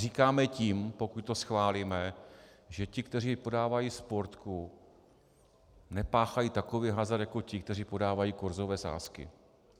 Říkáme tím, pokud to schválíme, že ti, kteří podávají sportku, nepáchají takový hazard jako ti, kteří podávají kurzové sázky.